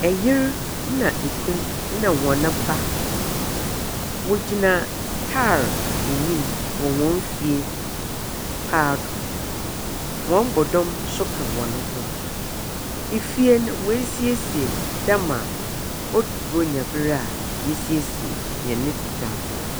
Ɛyere na ekunu na wɔne ba wɔgyina car anim wɔ hɔn fie paado. Hɔn bɔdɔm nso ka hɔn ho. Efie no wɛɛsiesie dɛma wɔduru bronya brɛ a yesiesie yɛne dan ho.